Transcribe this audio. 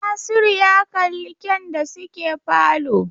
Nasiru ya kalli kyan da suke falo